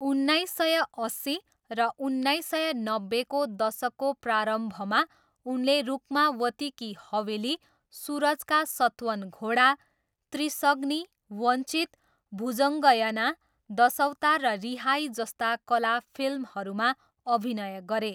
उन्नाइस सय अस्सी र उन्नाइस सय नब्बेको दशकको प्रारम्भमा उनले रुक्मावती की हवेली, सुरज का सतवन घोडा, त्रिशग्नी, वञ्चित, भुजङ्गयना दशवतार र रिहाई जस्ता कला फिल्महरूमा अभिनय गरे।